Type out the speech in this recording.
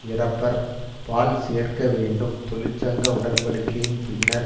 இறப்பர் பால் சேர்க்க வேண்டும் தொழிற்சங்க உடன்படிக்கையின் பின்னர்